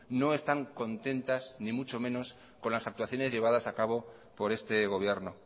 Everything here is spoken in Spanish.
no están contentas ni mucho menos con las actuaciones llevadas a cabo por este gobierno